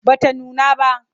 Ba ta nuna ba.